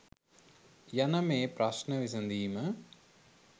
යන මේ ප්‍රශ්න විසැඳීම